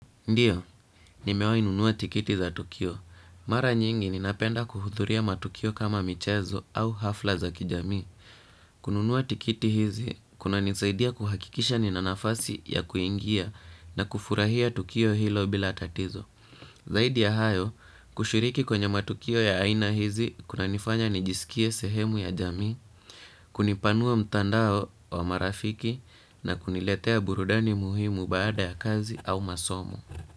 Ndio, nimewahi nunua tikiti za tukio. Mara nyingi ninapenda kuhudhuria matukio kama michezo au hafla za kijamii. Kununua tikiti hizi, kunanisaidia kuhakikisha nina nafasi ya kuingia na kufurahia tukio hilo bila tatizo. Zaidi ya hayo, kushiriki kwenye matukio ya aina hizi, kunanifanya nijisikie sehemu ya jamii, kunipanua mtandao wa marafiki na kuniletea burudani muhimu baada ya kazi au masomo.